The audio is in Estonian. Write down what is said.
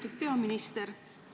Lugupeetud minister!